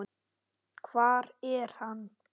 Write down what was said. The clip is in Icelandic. Hvar er hann?